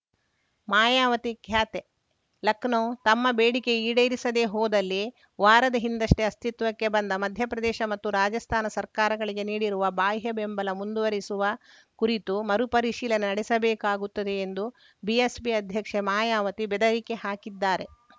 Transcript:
ಮಾಯಾವತಿ ಖ್ಯಾತೆ ಲಖನೌ ತಮ್ಮ ಬೇಡಿಕೆ ಈಡೇರಿಸದೇ ಹೋದಲ್ಲಿ ವಾರದ ಹಿಂದಷ್ಟೇ ಅಸ್ತಿತ್ವಕ್ಕೆ ಬಂದ ಮಧ್ಯಪ್ರದೇಶ ಮತ್ತು ರಾಜಸ್ಥಾನ ಸರ್ಕಾರಗಳಿಗೆ ನೀಡಿರುವ ಬಾಹ್ಯ ಬೆಂಬಲ ಮುಂದುವರೆಸುವ ಕುರಿತು ಮರು ಪರಿಶೀಲನೆ ನಡೆಸಬೇಕಾಗುತ್ತದೆ ಎಂದು ಬಿಎಸ್ಪಿ ಅಧ್ಯಕ್ಷೆ ಮಾಯಾವತಿ ಬೆದರಿಕೆ ಹಾಕಿದ್ದಾರೆ